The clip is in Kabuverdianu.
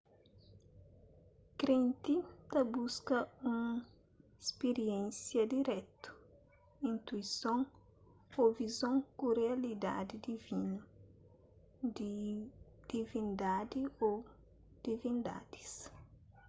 krenti ta buska un spiriénsia dirétu intuison ô vizon ku rialidadi divinu/di divindadi ô divindadis